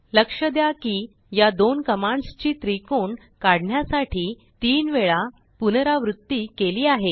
लक्ष द्या किया दोन कमांड्सची त्रिकोण काढण्यासाठी तीन वेळा पुनरावृत्तिकेली आहे